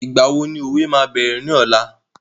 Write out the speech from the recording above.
ìgbà wo ni òwe máa bẹ̀rẹ̀ ní ọ̀la?